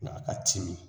A ka timi